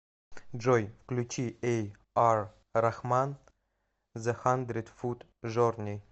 джой включи эй ар рахман зе хандред фут джорни